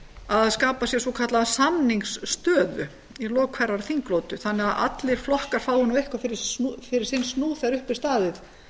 að skapa sér svokallaða samningsstöðu í lok hverrar þinglotu þannig að allir flokkar fái eitthvað fyrir sinn snúð þegar upp er staðið